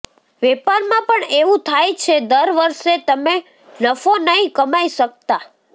વેપારમાં પણ એવું થાય છે દરવર્ષે તમે નફો નથી કમાઈ શકતા